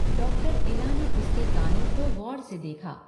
Doctor Ila ने उसके कानों को ग़ौर से देखा।